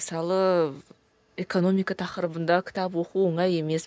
мысалы экономика тақырыбында кітап оқу оңай емес